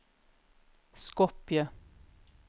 Skopje